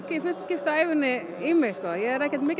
í fyrsta skipti á ævinni ég er ekkert mikið